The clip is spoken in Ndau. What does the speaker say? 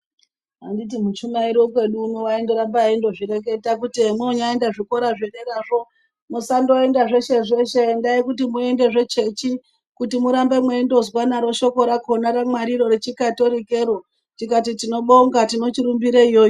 Handiti muchumairi wekwedu uno waindoramba ezvireketa kuti zvomoenda zvikora zvederazvo masangoenda zveshe zveshe endai itai kuti muende zvechechi kuti murambe meindozwa naro shoko rakona raMwari rechikatholikero tikati tinobonga tinochirumbira iyoyo.